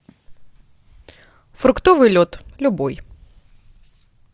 фруктовый лед любой